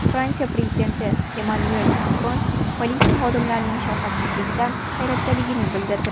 Fransiya prezidenti Emmanuel Makron politsiya xodimlarining shafqatsizligidan hayratdaligini bildirdi.